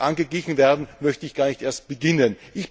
angeglichen werden, möchte ich gar nicht erst beginnen.